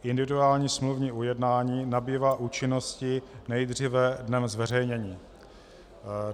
Individuální smluvní ujednání nabývá účinnosti nejdříve dnem zveřejnění.